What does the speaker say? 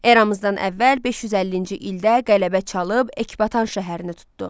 Eramızdan əvvəl 550-ci ildə qələbə çalıb Ekbatan şəhərini tutdu.